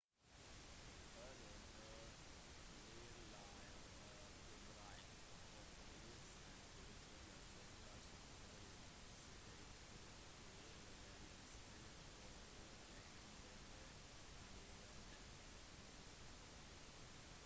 hæler bør være lave og brede. ofte blir sand grus eller salt kalsiumklorid spredt på veier eller stier for å gi en bedre gripeevne